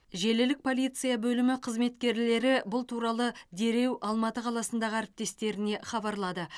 желілік полиция бөлімі қызметкерлері бұл туралы дереу алматы қаласындағы әріптестеріне хабарлады